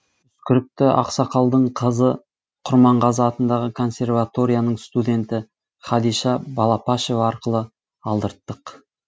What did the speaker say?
үскірікті ақсақалдың қызы құрманғазы атындағы консерваторияның студенті хадиша балапашева арқылы алдырттық